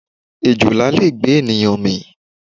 Èjòlá le gbé ènìyàn mì.